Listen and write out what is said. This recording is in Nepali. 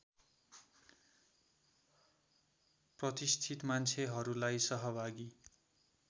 प्रतिष्ठित मान्छेहरूलाई सहभागी